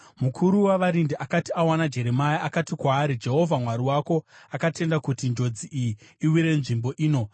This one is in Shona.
Mukuru wavarindi akati awana Jeremia, akati kwaari, “Jehovha Mwari wako akatenda kuti njodzi iyi iwire nzvimbo ino.